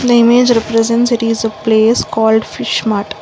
the image represents it is a place called fish mart.